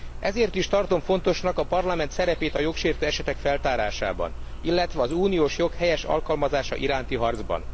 Ezért is tartom fontosnak a Parlament szerepét a jogsértő esetek feltárásában, illetve az uniós jog helyes alkalmazása iránti harcban.